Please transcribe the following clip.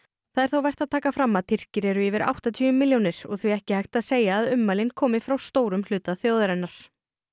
það er þó vert að taka fram að Tyrkir eru yfir áttatíu milljónir og því ekki hægt að segja að ummælin komi frá stórum hluta þjóðarinnar